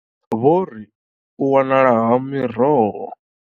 Vho ri. U wanala ha miroho.